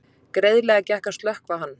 Greiðlega gekk að slökkva hann